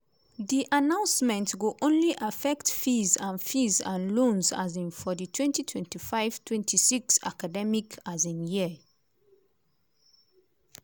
di announcement go only affect fees and fees and loans um for di 2025/26 academic um year.